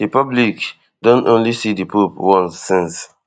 di public don only see di pope once since